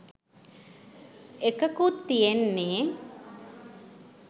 එකකුත් තියෙන්නේ